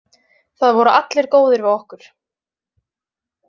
Það voru allir góðir við okkur.